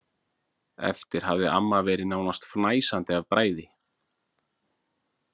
Eftir hafði amma verið nánast fnæsandi af bræði.